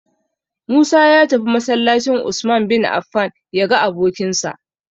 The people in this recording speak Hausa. Musa ya tafi masallacin "Usman bin Affan" ya ga abokinsa.